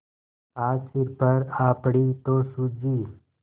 आज सिर पर आ पड़ी तो सूझी